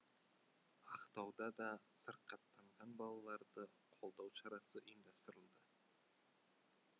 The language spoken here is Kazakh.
ақтауда да сырқаттанған балаларды қолдау шарасы ұйымдастырылды